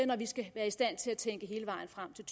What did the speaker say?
når vi skal tænke hele vejen frem til